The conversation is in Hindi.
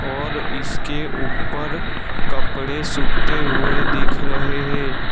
और इसके ऊपर कपड़े सूखते हुए दिख रहे है।